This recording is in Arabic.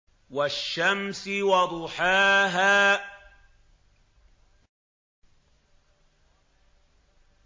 وَالشَّمْسِ وَضُحَاهَا